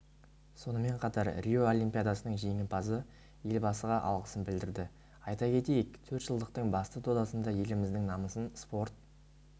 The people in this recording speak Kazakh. сонымен қатар рио олимпиадасының жеңімпазы елбасыға алғысын білдірді айта кетейік төртжылдықтың басты додасында еліміздің намысын спорт